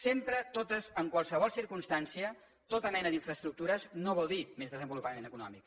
sempre totes en qualsevol circumstància qualsevol mena d’infraestructures no vol dir més desenvolupament econòmic